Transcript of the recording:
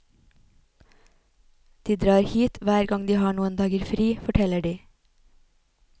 De drar hit hver gang de har noen dager fri, forteller de.